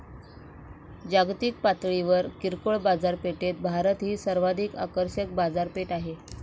जागतिक पातळीवर किरकोळ बाजारपेठेत भारत ही सर्वाधिक आकर्षक बाजारपेठ आहे.